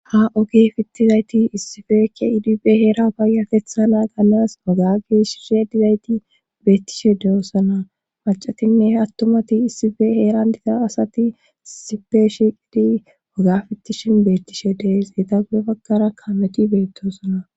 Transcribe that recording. Ha ogi fittizayti issifekke iidibe heera baayatetha naa gannas wagage shirshe dizayti beettishe deyoosana macatinne attumati issife heeran diza asati issife shiiqidi waga fittishin beettishe dees ita gudefakkara kameti beettoosana.